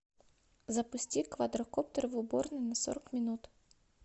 запусти квадрокоптер в уборной на сорок минут